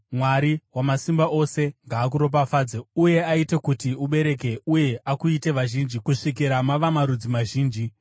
Mwari Wamasimba Ose ngaakuropafadze uye aite kuti ubereke uye akuitei vazhinji kusvikira mava marudzi mazhinji.